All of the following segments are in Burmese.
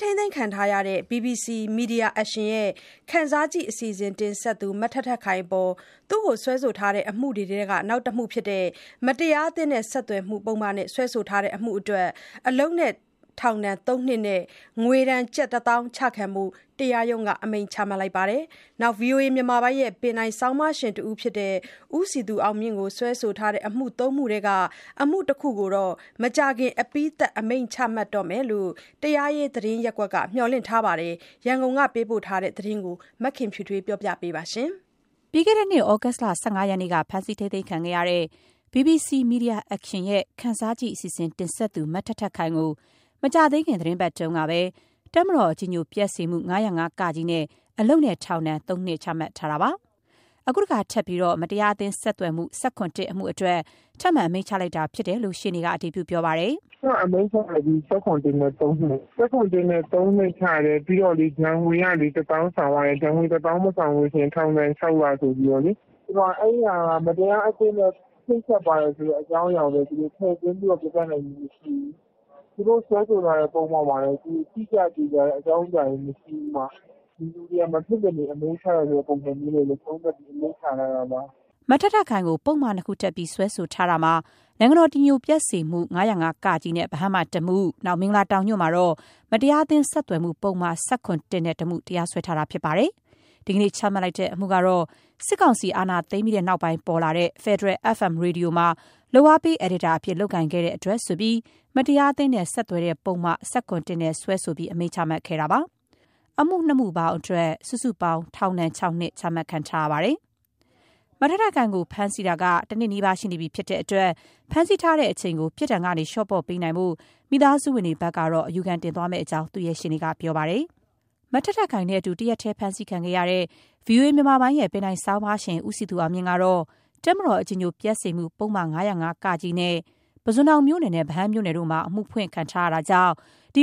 ထိန်းသိမ်းခံနေရတဲ့ BBC Media Action ရဲ့ “ခံစားကြည့်” အစီအစဉ်တင်ဆက်သူ မထက်ထက်ခိုင်အပေါ် စွဲဆိုထားတဲ့အမှုတွေထဲက နောက်တမှုဖြစ်တဲ့ မတရားအသင်းနဲ့ဆက်သွယ်မှုနဲ့ စွဲဆိုထားတဲ့အမှုအတွက် အလုပ်နဲ့ထောင်ဒဏ် ၃ နှစ်နဲ့ ငွေဒဏ် ကျပ် ၁၀,၀၀၀ ကျခံဖို့ တရားရုံးက အမိန့်ချမှတ်လိုက်ပါတယ်။ ဗွီအိုအေမြန်မာပိုင်းရဲ့ ပင်တိုင်ဆောင်းပါးရှင်တဦးဖြစ်တဲ့ ဦးစည်သူအောင်မြင့်ကို စွဲဆိုထားတဲ့အမှု ၃ မှု ထဲက အမှု ၁ ခု ကိုတော့ မကြာခင် အပြီးသတ်အမိန့်ချမှတ်တော့မယ်လို့ တရားရေး သတင်းရပ်ကွက်က မျှော်လင့်ထားပါတယ်။ ရန်ကုန်ကသတင်းပေးပို့ချက်ကို မခင်ဖြူထွေးက တင်ပြပေးထားပါတယ်။ ပြီးခဲ့တဲ့နှစ် သြဂုတ်လ ၁၅ ရက်နေ့က ဖမ်းဆီးခံခဲ့ရတဲ့ BBC Media Action ရဲ့ “ခံစားကြည့်” အစီအစဉ် တင်ဆက်သူ မထက်ထက်ခိုင်ကို မကြာသေးခင် သီတင်းပတ်တွေအတွင်းကပဲ တပ်မတော်အကြည်ညို ပျက်စေမှု ၅၀၅-ကအတွက် အလုပ်နဲ့ ထောင်ဒဏ် ၃ နှစ်ချမှတ်ထားပြီးဖြစ်ပါတယ်။ အခု မတရားအသင်း ဆက်သွယ် မှု ၁၇/ ၁ အတွက် ထပ်ပြီး အမိန့်ချလိုက်တဲ့အကြောင်း ရှေ့နေက အတည်ပြုပါတယ်။ “ထက်ထက် အမိန့်ချလိုက်ပြီ။ ၁၇/၁ နဲ့ ၃ နှစ်။ ၁၇/၁နဲ့ ၃ နှစ်အပြင် ဒဏ်ငွေ ၁၀,၀၀၀ ဆောင်ရတယ်။ အဲဒါ မဆောင်ရင် ထောင်ဒဏ် ၆ လ ကျခံရမယ်ဆိုပြီးလေ။ အဲဒီအမှုမှာ မတရားအသင်းနဲ့ ချိတ်ဆက်ပါတယ်လို့ ထည့်သွင်းပြနိုင်ခဲ့တာ မရှိဘူး။ သူတို့စွဲဆိုထားတဲ့ပုဒ်မမှာလည်း တိကျသေချာတဲ့ အကြောင်းအရာမရှိဘူး။ ဒီလူတွေကို အမိန့်ချရမယ့် ပုံစံနဲ့ပဲ သုံးသပ်အမိန့်ချတာပါ။” မထက်ထက်ခိုင်ကို ပုဒ်မ ၂ ခုတပ်ပြီး စွဲထားတာမှာ ဗဟန်းမှာ တပ်မတော် အကြည်အညိုပျက်စေမှု ၅၀၅-က နဲ့ တမှု၊ မင်္ဂလာတောင်ညွှန့်မှာတော့ မတရားအသင်းဆက်သွယ်မှု ပုဒ်မ ၁၇/၁ တမှုတို့နဲ့ တရားစွဲခဲ့တာ ဖြစ်ပါတယ်။ ဒီကနေ့ချမှတ်လိုက်တဲ့အမှုကတော့ စစ်ကောင်စီအာဏာသိမ်းပြီးနောက်ပေါ်လာတဲ့ ဖက်ဒရယ် FM ရေဒီယိုမှာ လုပ်အားပေးအယ်ဒီတာအဖြစ် လုပ်ကိုင်ခဲ့တဲ့အတွက်ဆိုပြီး မတရားအသင်းနဲ့ ဆက်သွယ်တဲ့ပုဒ်မ ၁၇/၁ နဲ့စွဲချက်တင်ပြီး အမိန့်ချမှတ်ခဲ့တာပါ။ အမှု ၂ ခု အတွက် ပေါင်း ၆ နှစ် ချမှတ်ထားပါတယ်။ ထက်ထက်ခိုင်ကို ဖမ်းဆီးထားတာက တနှစ်နီးပါး ရှိတော့မှာဖြစ်တဲ့အတွက် ဖမ်းဆီးထားတဲ့အချိန်ကို ပြစ်ဒဏ်ကနေ လျော့ပေါ့ပေးနိုင်ဖို့ မိသားစုဝင်တွေဘက်က အယူခံတင်သွားမယ့်အကြောင်း သူ့ရဲ့ ရှေ့နေက ပြောပါတယ်။ ထက်ထက်ခိုင်နဲ့အတူ တရက်တည်းဖမ်းဆီးခံရတဲ့ ဗွီအိုအေမြန်မာပိုင်းရဲ့ဆောင်းပါးရှင် ဦးစည်သူ အောင်မြင့် ကတော့ တပ်မတော် အကြည်ညိုပျက်စေမှု ပုဒ်မ ၅၀၅-က နဲ့ ပုဇွန်တောင်မြို့နယ်နဲ့ ဗဟန်းမြို့နယ်မှာ အမှုဖွင့်ထားတာကြောင့်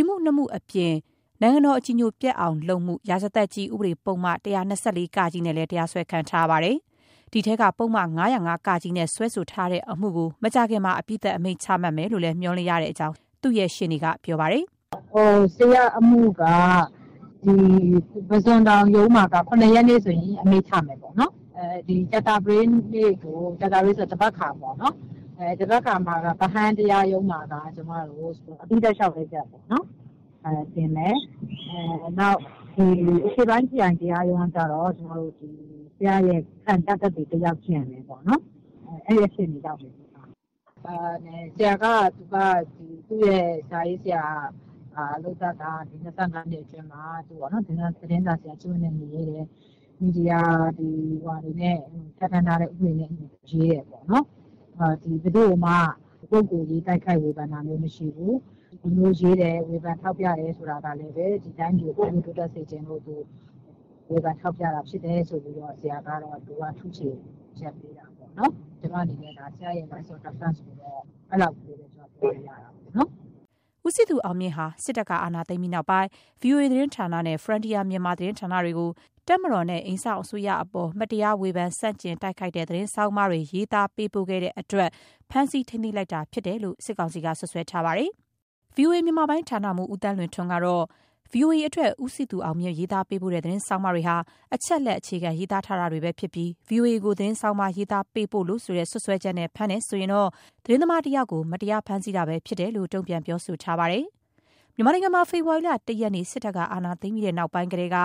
အမှု ၂ မှုအပြင် နိုင်ငံတော် အကြည်ညိုပျက်အောင် ပြုလုပ်မှု ရာဇသတ်ကြီး ဥပဒေပုဒ်မ ၁၂၄ (က) တို့နဲ့ တရားစွဲခံထားရပါတယ်။ ဒီအထဲက ပုဒ်မ ၅၀၅-က နဲ့ စွဲဆိုထားတဲ့အမှု တမှုကို မကြာခင်မှာ အပြီးသတ် အမိန့်ချမှတ်မယ်လို့ မျှော်လင့်တဲ့အကြောင်း သူ့ရှေ့နေက ပြောပါတယ်။ “ဆရာ့အမှုက ပုစွန်တောင်ရုံးမှာက ၇ ရက်နေ့ အမိန့်ချမယ်။ ကြာသပတေးနေ့ သဘက်ခါပေါ့။ ဗဟန်း တရား ရုံးမှာက အပြီးသတ်လျှောက်လဲချက်ပေါ့။ တင်မယ်။ အရှေ့ပိုင်းခရိုင်တရားရုံးဘက်ကတော့ ဆရာ့ ခံပြသက်သေစစ်ဖို့ရှိပါတယ်။ အဲအခြေအနေပေါ့ ဆရာကတော့ သူ့ရဲ့လုပ်သက် ၂၅ နှစ်ကျော်မှာ သတင်းစာဆရာကျင့်ဝတ်နဲ့အညီရေးတယ်။ မီဒီယာပြဌာန်းထားတာနဲ့အညီရေးတယ်ပေါ့။ ဘယ်သူ့ကိုမှ ပုဂ္ဂိုလ်ရေး တိုက်ခိုက်ဝေဖန် တာမရှိဘူး။ ခုလိုရေးတာတွေကလည်း တိုင်းပြည်ဖွံ့ဖြိုးတိုးတက်စေချင်လို့ပေါ့။ ဒီလိုမျိုး ဆရာ့ထုချေချက်ကိုပဲ ကျမပြောလို့ရသေးတာပေါ့နော်။” ဦးစည်သူအောင်မြင့်ဟာ စစ်တပ်က အာဏာသိမ်းပြီးနောက်ပိုင်း VOA သတင်းဌာနနဲ့ Frontier Myanmar သတင်းဌာနတွေကို တပ်မတော်နဲ့ အိမ်စောင့်အစိုးရအပေါ် မတရား ဝေဖန်ဆန့်ကျင်တိုက်ခိုက်တဲ့ သတင်းဆောင်းပါးတွေ ရေးသားပေးပို့တဲ့အတွက် ဖမ်းဆီးထိန်းသိမ်းလိုက်တာဖြစ်တယ်လို့ စစ်ကောင်စီက စွပ်စွဲထားပါတယ်။ ဗွီအိုအေ မြန်မာပိုင်းဌာနမှူး ဦးသန်းလွင်ထွန်းကတော့ ဗွီအိုအေအတွက် ဦးစည်သူအောင်မြင့် ရေးသားပေးပို့တဲ့သတင်းဆောင်းပါးတွေဟာ အချက်အလက်အခြေခံ ရေးသားထားတာတွေပဲဖြစ်ပြီး ဗွီအိုအေကို သတင်းဆောင်းပါး ရေးသားပေးပို့လို့ဆိုတဲ့ စွပ်စွဲချက်နဲ့ဖမ်းတယ်ဆိုရင်တော့ သတင်းသမားတယောက်ကို မတရားဖမ်းဆီးတာပဲ ဖြစ်တဲ့အကြောင်း တုံ့ပြန်ပြောဆိုထားပါတယ်။ မြန်မာနိုင်ငံမှာ ဖေဖော်ဝါရီလ ၁ ရက်နေ့ စစ်တပ်က အာဏာသိမ်းပြီးနောက်ပိုင်းကတည်းက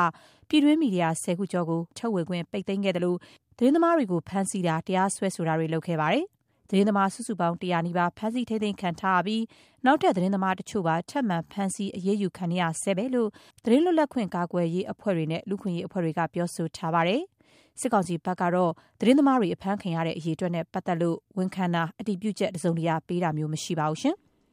ပြည်တွင်း မီဒီယာ ၁၀ ခုကျော်ကို တရားဝင် ထုတ်ဝေခွင့် ပိတ်သိမ်းခဲ့သလို သတင်းသမားတွေကို ဖမ်းဆီးတာ၊ တရားစွဲတာတွေ ပြုလုပ်ခဲ့ပါတယ်။ သတင်းသမား အယောက် ၁၀၀ နီးပါး ဖမ်းဆီးထိန်းသိမ်းခံထားရပြီး နောက်ထပ် သတင်းသမားတချို့ပါ ထပ်မံ ဖမ်းဆီးအရေးယူခံနေရဆဲပဲလို့ သတင်းလွတ်လပ်ခွင့် ကာကွယ်ရေးအဖွဲ့တွေနဲ့ လူ့အခွင့်အရေး အဖွဲ့တွေက ပြောဆိုထားပါတယ်။ စစ်ကောင်စီဘက်ကတော့ သတင်းသမားတွေ အဖမ်းခံရတဲ့ အရေအတွက်နဲ့ ပတ်သက်လို့ဝန်ခံတာ၊ အတြည်ပုချက် တစုံတရာပေးတာမျိုး မရှိပါဘူး။